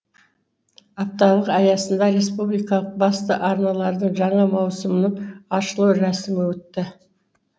апталық аясында республикалық басты арналардың жаңа маусымының ашылу рәсімі өтті